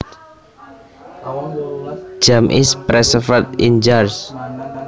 Jam is preserved in jars